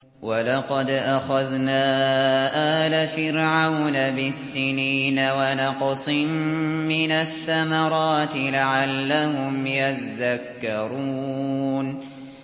وَلَقَدْ أَخَذْنَا آلَ فِرْعَوْنَ بِالسِّنِينَ وَنَقْصٍ مِّنَ الثَّمَرَاتِ لَعَلَّهُمْ يَذَّكَّرُونَ